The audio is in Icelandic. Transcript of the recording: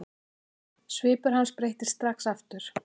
Svipur hans breyttist strax aftur.